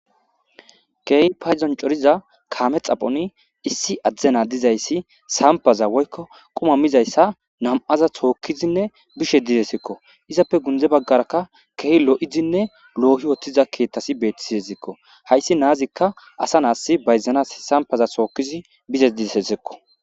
keey payzon coriza kaame xaphoni issi adzdena dizayssi sampaza woykko qumamizayssa nam7aza sookkizinne bishe didesekko izappe gundze baggarakka keeh lo7izinne loohi wotthiza keethtasi beettisi ezikko hayssi naazikka asa naas bayzanas sampaza sookkizi bizes dizesesekko